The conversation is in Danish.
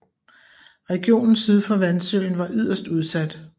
Regionen syd for Vansøen var yderst udsat